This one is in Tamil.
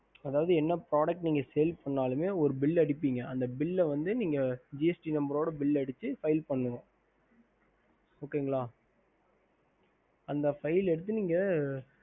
ஹம்